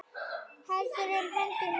Heldur um hendur mínar.